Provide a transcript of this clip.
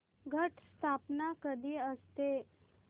घट स्थापना कधी असते